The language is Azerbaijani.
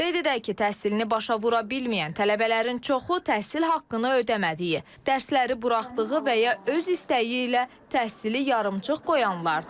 Qeyd edək ki, təhsilini başa vura bilməyən tələbələrin çoxu təhsil haqqını ödəmədiyi, dərsləri buraxdığı və ya öz istəyi ilə təhsili yarımçıq qoyanlardır.